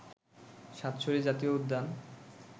সাতছড়ি জাতীয় উদ্যান